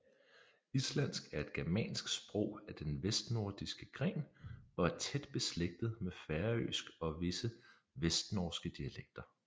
Islandsk er et germansk sprog af den vestnordiske gren og er tæt beslægtet med færøsk og visse vestnorske dialekter